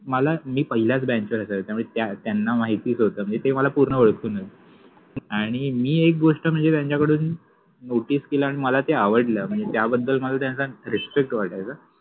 मला मि पहिल्याच बेंचवर असायच त्यामुळे त्या त्याना माहितिच होत मनजे ते मला पुर्ण ओळखत होत आणि मि एक गोष्ट मनजे त्यांच्याकडुन नोटिस केल आणि मला ते आवडल मनजे त्याबद्दल मला त्यांचा रिस्पेक्ट वाटायचा.